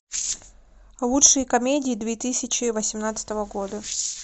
лучшие комедии две тысячи восемнадцатого года